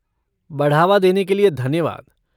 बढ़ावा देने के लिए धन्यवाद।